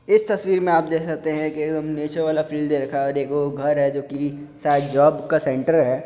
इस तस्वीर मे आप देख सकते है के-- एकदम नेचर वाला फ़ील दे रखा है और एगो घर है जो की शायद जॉब का सेंटर है।